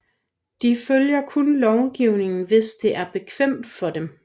De følger kun lovgivningen hvis det er bekvemt for dem